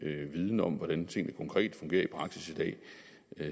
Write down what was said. viden om hvordan tingene konkret fungerer i praksis i dag